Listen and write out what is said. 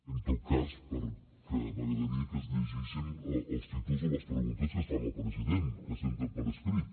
en tot cas perquè m’agradaria que es llegissin els títols de les preguntes que es fan al president que s’entren per escrit